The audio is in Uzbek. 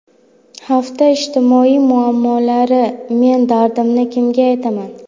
Hafta ijtimoiy muammolari: Men dardimni kimga aytaman….